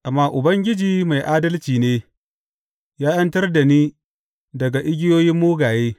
Amma Ubangiji mai adalci ne; ya ’yantar da ni daga igiyoyin mugaye.